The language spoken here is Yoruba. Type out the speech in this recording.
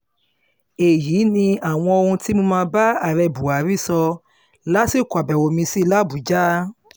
èyí ni àwọn ohun tí mo bá ààrẹ buhari sọ lásìkò àbẹ̀wò mi sí i làbújá